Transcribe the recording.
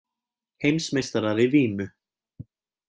Heimsmeistarar í vímu